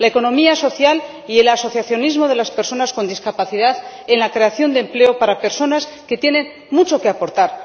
la economía social y el asociacionismo de las personas con discapacidad en la creación de empleo para personas que tienen mucho que aportar.